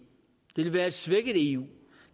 det vil være et svækket eu